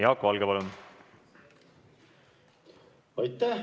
Jaak Valge, palun!